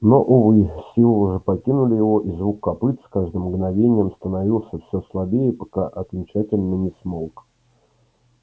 но увы силы уже покинули его и звук копыт с каждым мгновением становился все слабее пока окончательно не смолк